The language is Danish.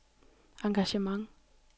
engagement